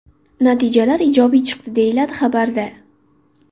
Natijalar ijobiy chiqdi”, deyiladi xabarda .